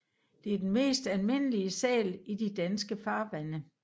Det er den mest almindelige sæl i de danske farvande